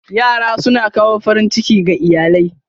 Yara suna kawo farin ciki ga iyalai.